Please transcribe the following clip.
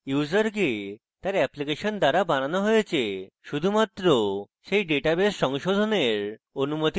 ইউসারকে তার অ্যাপ্লিকেশন দ্বারা বানানো হয়েছে শুধুমাত্র সেই ডেটাবেস সংশোধনের অনুমতি দেয়